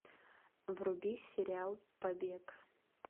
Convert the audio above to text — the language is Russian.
вруби сериал побег